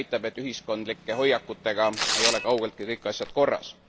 See näitab, et ühiskondlike hoiakutega ei ole kaugeltki kõik asjad korras.